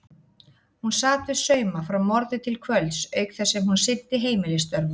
Hún sat við sauma frá morgni til kvölds auk þess sem hún sinnti heimilisstörfunum.